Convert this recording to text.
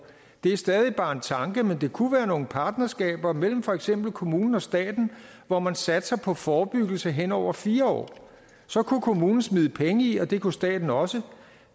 er stadig bare en tanke men det kunne være nogle partnerskaber mellem for eksempel kommunen og staten hvor man satser på forebyggelse henover fire år så kunne kommunen smide penge i og det kunne staten også